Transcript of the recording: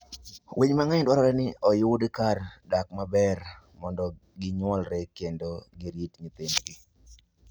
Winy mang'eny dwarore ni oyud kar dak maber mondo ginyuolre kendo girit nyithindgi.